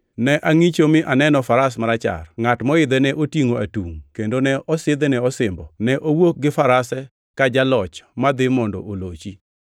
Ne angʼicho mi aneno faras marachar. Ngʼat moidhe ne otingʼo atungʼ kendo ne osidhne osimbo. Ne owuok gi farase ka jaloch madhi mondo olochi.